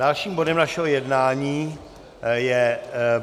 Dalším bodem našeho jednání je